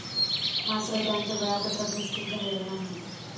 मात्र, त्यांचं वेळापत्रक निश्चित झालेलं नाही.